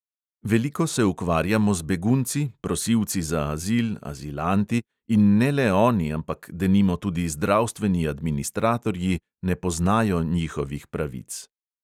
Veliko se ukvarjamo z begunci, prosilci za azil, azilanti, in ne le oni, ampak denimo tudi zdravstveni administratorji ne poznajo njihovih pravic.